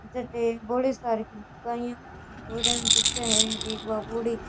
जेके बोली सार की लुगाईया छोरिया ने दिखे है एक बा बूढ़ी --